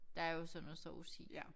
Der er jo så noget sovs i